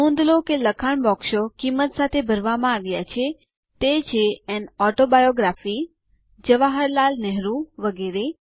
નોંધ લો કે લખાણ બોક્સ કિંમતો સાથે ભરવામાં આવ્યા છે તે છે એએન ઓટોબાયોગ્રાફી જવાહરલાલ નેહરૂ વગેરે